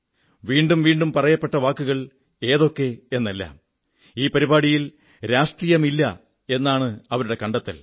വീണ്ടും വീണ്ടും പറയപ്പെട്ടു വാക്കുകൾ ഏതൊക്കെ എന്നെല്ലാം ഈ പരിപാടിയിൽ രാഷ്ട്രീയമില്ല എന്നാണ് അവരുടെ കണ്ടെത്തൽ